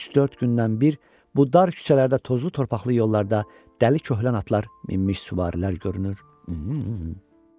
Üç-dörd gündən bir bu dar küçələrdə, tozlu torpaqlı yollarda dəli köhlən atlar minmiş süvarilər görünür.